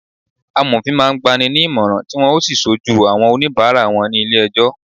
Amofin máa ń gba ni ní ìmọ̀ràn, tí wọn ó sì ṣojú àwọn onibara wọn ní ilé ẹjọ́